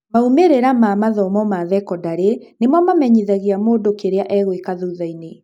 Maumĩrĩra ma mathomo ma thekondarĩ nĩmo mamenyithagia mũndũ kĩrĩa egũĩka thuthainĩ.